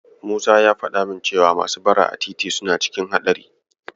Musa ya faɗa min cewa masu bara a titi suna cikin haɗari.